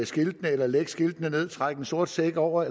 skiltene eller lægge skiltene ned eller trække en sort sæk hen over